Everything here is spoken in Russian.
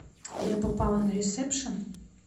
я попала на ресепшн